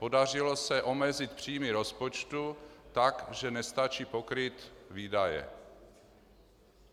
Podařilo se omezit příjmy rozpočtu tak, že nestačí pokrýt výdaje.